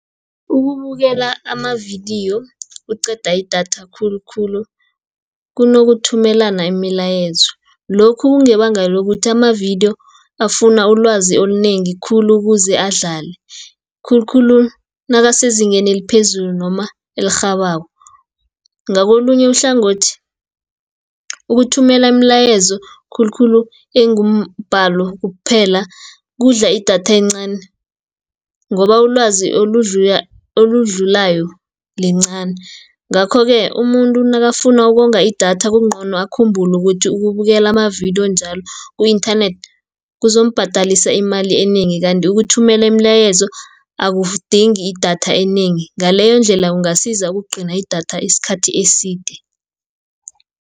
Ukubukela amavidiyo kuqeda idatha khulukhulu, kunokuthumelana imilayezo. Lokhu kungebanga lokuthi amavidiyo afuna ulwazi olunengi khulu ukuze adlale, khulukhulu nakasezingeni eliphezulu, noma elirhabako. Ngakolunye uhlangothi ukuthumela imilayezo khulukhulu engumbalo kuphela, kudla idatha encani, ngoba ulwazi oludlulayo lincani. Ngakho-ke umuntu nakafuna ukonga idatha kungcono akhumbulu ukuthi ukubukela amavidiyo njalo ku-inthanethi, kuzombhadalisa imali enengi, kanti ukuthumela imilayezo akudingi idatha enengi, ngaleyo ndlela ungasiza ukugcina idatha isikhathi eside.